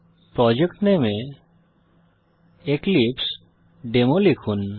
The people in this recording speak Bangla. প্রজেক্ট নামে এ এক্লিপসেডেমো লিখুন